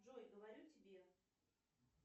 джой говорю тебе